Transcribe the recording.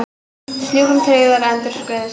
Sjúklingum tryggðar endurgreiðslur